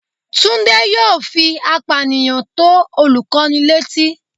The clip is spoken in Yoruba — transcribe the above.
Tunde yóò fí apániyan to olukọni letí